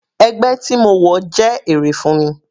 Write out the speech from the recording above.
Ẹgbẹ́ tí mo wọ̀ jẹ́ èrè fún mi.